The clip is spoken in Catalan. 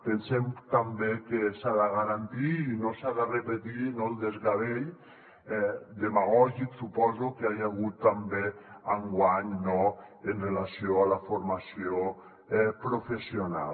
pensem també que s’ha de garantir i no s’ha de repetir el desgavell demagògic suposo que hi ha hagut també enguany amb relació a la formació professional